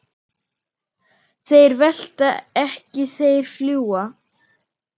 Þeir velta ekki, þeir fljúga.